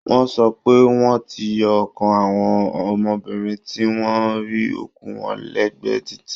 Wọ́n sọ pé wọ́n ti yọ ọkàn àwọn ọmọbìnrin tí wọ́n rí òkú wọn lẹ́gbẹ̀ẹ́ títì